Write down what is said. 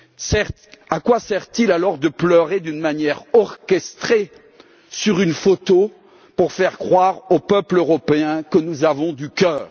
Certes, à quoi sert il alors de pleurer de manière orchestrée sur une photo pour faire croire aux peuples européens que nous avons du cœur?